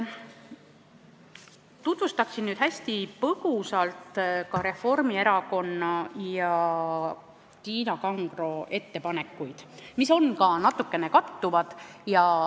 Tutvustan hästi põgusalt Reformierakonna ja Tiina Kangro ettepanekuid, mis natukene kattuvad.